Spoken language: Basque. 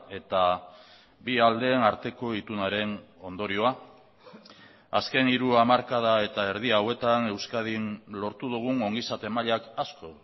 eta bi aldeen arteko itunaren ondorioa azken hiru hamarkada eta erdi hauetan euskadin lortu dugun ongizate mailak asko